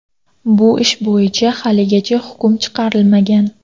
Bu ish bo‘yicha haligacha hukm chiqarilmagan.